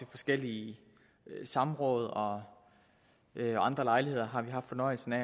forskellige samråd og ved andre lejligheder haft fornøjelsen af